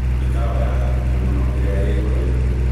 mĩkawa ya hakuhĩ mũno ĩrĩa ĩho rĩũ